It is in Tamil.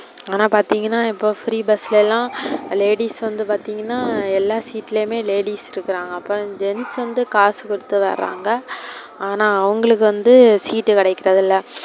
ஆனா பார்த்திங்கன இப்போ free bus ல எல்லா ladies வந்து பார்த்திங்கனா எல்லா seat லயுமே ladies இருக்குறாங்க. அப்ப gents வந்து காசு கொடுத்து வராங்க ஆன்னா அவங்களுக்கு வந்து seat கிடைக்குறது இல்ல.